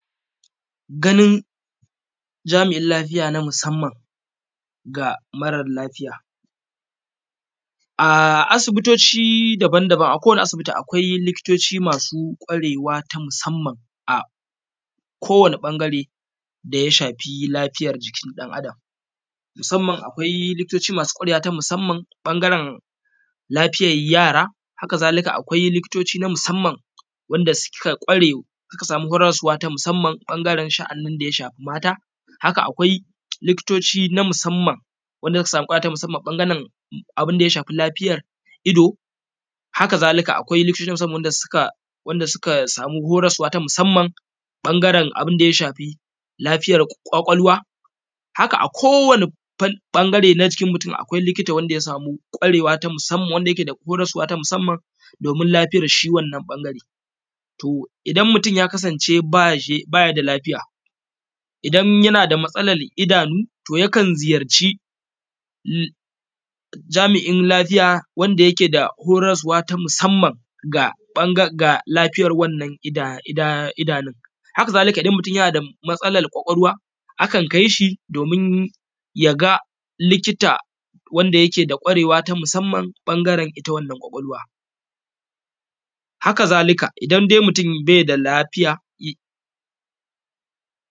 Ganin jamiin lafiya na musamman ga mara lafiya a asibitoci daba-daba akwai likitoci masu kwarewa ta musamman a kowani ɓangare da ya shafi lafiya jikin ɗan adam musamman akwai likitocin masu kwarewa na musamman ɓangaren lafiyan yara haka-zalika akwai likitocin na musamman wanda suka kware da huraswa na musamman ɓangaren shaanin da ya shafi mata haka akwai likitocin na musamman wanda suka sama huraswa na musamman abinda ya shafi lafiya ido haka-zalika akwai likitocin wanda suka huraswa na musamman ɓangaren abinda ya shafi lafiya ƙwakwalwa haka akowani ɓangare na jiki akwai likita wanda ya sami kwarewa ta musamman wanda yake horaswa na musamman domin lafiya shi wannan ɓangare to idan mutun ya kasance ba shi da lafiya idan yanda matsalan idanu yakan ziyarci jami’in lafiya wanda yake da horaswa ta musamman ga ɓangaren lifiya wannan idanu haka-zalika idan mutun yana da matsalan kwakwalwa akan kai shi domin ya ga likita wanda yake da kwarewa ta musamman a ɓangaren ita wannan ƙwakwalwa haka-zalika idan dai mutun ba shi da lafiya.